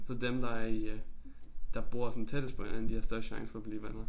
Så dem der i øh der bor sådan tættest på hinanden de har størst chance for at blive venner